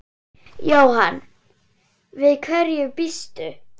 Jóhann: Við hverju býstu?